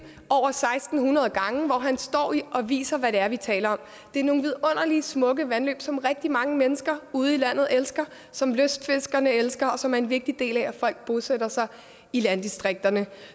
hvor han står og viser hvad det er vi taler om det er nogle vidunderlige smukke vandløb som rigtig mange mennesker ude i landet elsker som lystfiskerne elsker og som er en vigtig del af at folk bosætter sig i landdistrikterne